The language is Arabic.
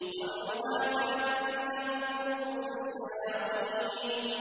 طَلْعُهَا كَأَنَّهُ رُءُوسُ الشَّيَاطِينِ